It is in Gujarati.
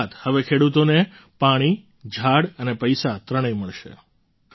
અર્થાત હવે ખેડૂતોને પાણી ઝાડ અને પૈસા ત્રણેય મળશે